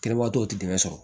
Kɛlɛbagatɔw tɛ dɛmɛ sɔrɔ